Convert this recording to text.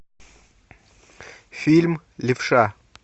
фильм левша